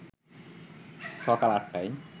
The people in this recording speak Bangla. সকাল ৮টায়